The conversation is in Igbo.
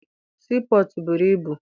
Sii pọtụ buru ibu.